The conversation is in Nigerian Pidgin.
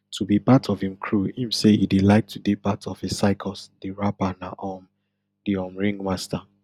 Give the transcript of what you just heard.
to be part of im crew im say e dey like to dey part of a circus di rapper na um di um ringmaster